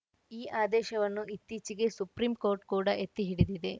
ಈ ಆದೇಶವನ್ನು ಇತ್ತೀಚೆಗೆ ಸುಪ್ರೀಂ ಕೋರ್ಟ್‌ ಕೂಡ ಎತ್ತಿ ಹಿಡಿದಿದೆ